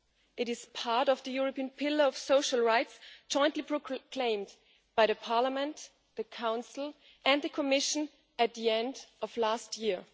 It is part of the European pillar of social rights jointly proclaimed by Parliament, the Council and the Commission at the end of last year.